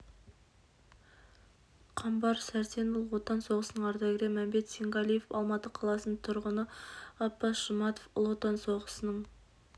қамбар сәрсен ұлы отан соғысының ардагері мәмбет сенғалиев алматы қаласының тұрғыны ғаббас жұматов ұлы отан соғысының